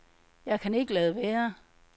Jeg kan ikke lade være.